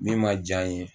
Min ma diya n ye